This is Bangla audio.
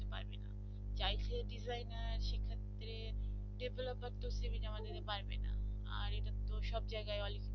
চাইছে designer সেক্ষেত্রে developer cv জমা দিতে পারবে না আর এরকম তো সব জায়গায় অল্প